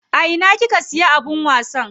A ina kika siya abin wasan?